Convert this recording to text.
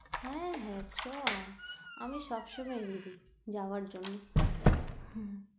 হ্যাঁ, হ্যাঁ চ, আমি সবসময় রেডি, যাওয়ার জন্য। হম